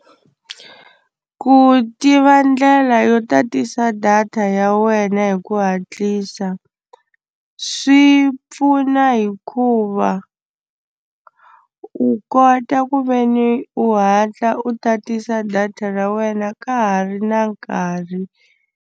Ku tiva ndlela yo tatisa data ya wena hi ku hatlisa swi pfuna hikuva u kota ku ve ni u hatla u tatisa data ra wena ka ha ri na nkarhi.